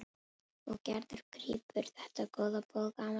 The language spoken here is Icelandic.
Og Gerður grípur þetta góða boð gamals vinar.